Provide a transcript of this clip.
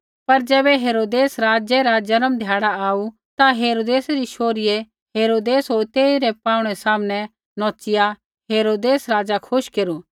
पर ज़ैबै हेरोदेस राज़ा रा जन्म ध्याड़ा आऊ ता हेरोदेसै री शोहरीये हरोदेस होर तेइरै पाहुँणै सामनै नौच़िया हेरोदेस राज़ा खुश केरू